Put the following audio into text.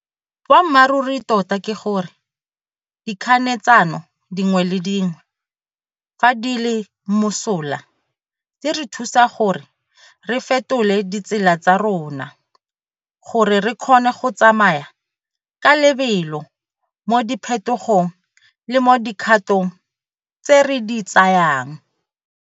Boammaruri tota ke gore, dikganetsano dingwe le dingwe, fa di le mosola, di re thusa gore re fetole ditsela tsa rona gore re kgone go tsamaya ka lebelo mo diphetogong le mo dikgatong tse re di tsayang.